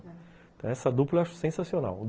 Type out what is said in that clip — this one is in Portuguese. Então essa dupla eu acho sensacional.